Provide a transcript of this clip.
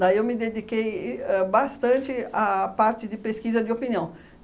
Daí eu me dediquei e ãh bastante à parte de pesquisa de opinião.